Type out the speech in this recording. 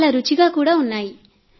చాలా రుచిగా ఉంటుంది